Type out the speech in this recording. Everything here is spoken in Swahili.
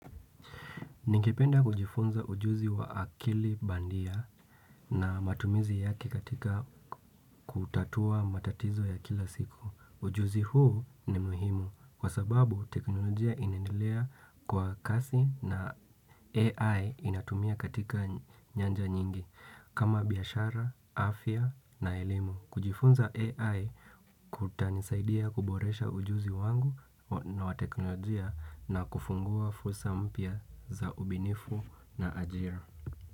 Ningependa kujifunza ujuzi wa akili bandia na matumizi yake katika kutatua matatizo ya kila siku. Ujuzi huu ni muhimu kwa sababu teknolojia inasndilea kwa kasi na AI inatumia katika nyanja nyingi kama biashara, afya na elimu. Kujifunza AI kutani saidia kuboresha ujuzi wangu na wa teknolojia na kufungua fursa mpya za ubinifu na ajira.